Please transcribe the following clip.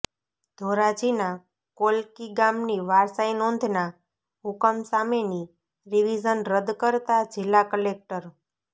ધોરાજીના કોલકી ગામની વારસાઈ નોંધના હુકમ સામેની રીવીઝન રદ્દ કરતા જિલ્લા કલેકટર